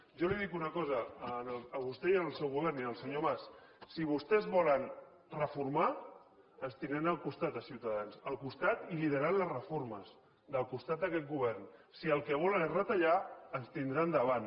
jo els dic una cosa a vostè i al seu govern i al senyor mas si vostès volen reformar ens tindran al costat a ciutadans al costat i liderant les reformes al costat d’aquest govern si el que volen és retallar ens tindran davant